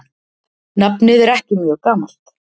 Nafnið er ekki mjög gamalt.